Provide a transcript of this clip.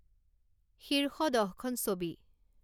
শীর্ষ দহখন ছবি